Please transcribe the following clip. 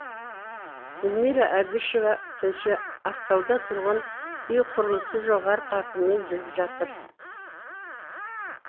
гүлмира әбішева тілші ақтауда тұрғын үй құрылысы жоғары қарқынмен жүріп жатыр